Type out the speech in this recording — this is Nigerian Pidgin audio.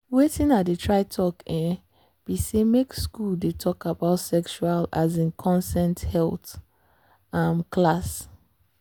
watin i dey try talk um be say make school dey talk about sexual um consent health um class.